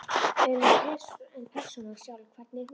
En persónan sjálf, hvernig er hún?